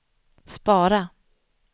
spara